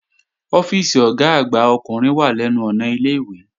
Ọ́fíìsì Ọ̀gá àgbà ọkùnrin wà lẹ́nu ọ̀nà ilé-ìwé